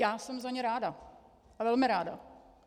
Já jsem za ně ráda, a velmi ráda.